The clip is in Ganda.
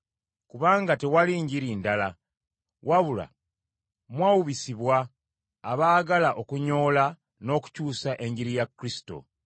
Kubanga tewali njiri ndala, wabula mwawubisibwa abaagala okunyoola n’okukyusa Enjiri ya Kristo.